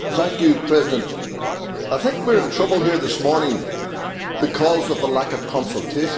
Mr President, I think we are in trouble here this morning because of a lack of consultation.